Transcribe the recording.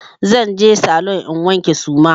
Zan je saloon in wanke suma.